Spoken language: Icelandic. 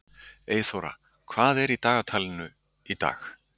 Eyþóra, hvað er í dagatalinu í dag?